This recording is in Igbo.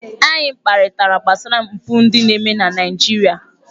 Anyị kparịtara gbasara mpụ ndị na-eme na Naịjirịa.